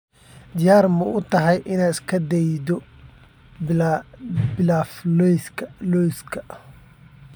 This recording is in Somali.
Diyaar ma u tahay inaad isku daydo pilaf lawska?